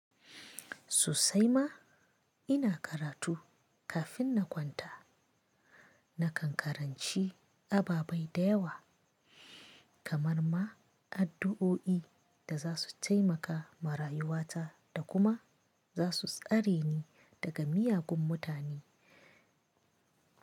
Sosai ma ina karatu kafin na kwanta. Na kan karanci ababai da yawa kamar ma addu'o'i da za su taimaka ma rayuwata da kuma za su tsare ni daga miyagun mutane.